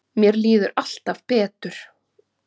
Mér líður alltaf betur.